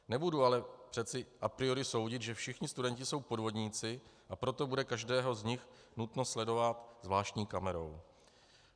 Nebudu ale přece a priori soudit, že všichni studenti jsou podvodníci, a proto bude každého z nich nutno sledovat zvláštní kamerou.